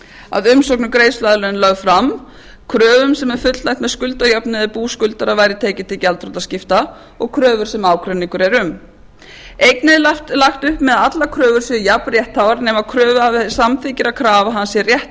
að umsókn um greiðsluaðlögun er lögð fram kröfum sem er fullnægt með skuldajöfnun ef bú skuldara væri tekið til gjaldþrotaskipta og kröfur sem ágreiningur er um einnig er lagt upp með að allar kröfur séu jafn réttháar nema kröfuhafi samþykki að krafa hans sé réttlægri